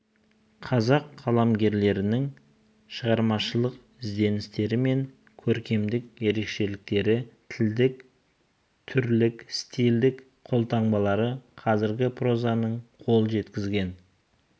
қазақ қаламгерлерінің шығармашылық ізденістері мен көркемдік ерекшеліктері тілдік түрлік стильдік қолтаңбалары қазіргі прозаның қол жеткізген